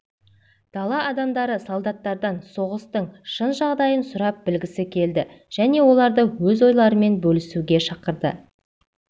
дала адамдары солдаттардан соғыстың шын жағдайын сұрап білгісі келді және оларды өз ойларымен бөлісуге шақырды